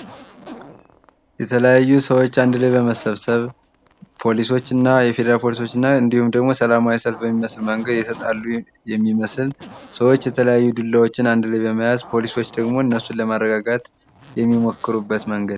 የተለያዩ ሰዎች አንድ ላይ በመሰብሰብ ፖሊሶች እና የፌዴራል ፖሊሶች እንዲሁም ደግሞ የሰላማዊ ሰልፍ በሚመስል መንገድ የተጣሉ የሚመስል ሰዎች የተለያዩ ዱላዎችን አንድ ላይ በመያዝ ፖሊሶች ደግሞ እነሱን ለማረጋጋት የሚሞክሩበት መንገድ።